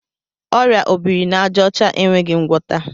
Ọrịa obirinaàjàọcha enweghị ngwọta.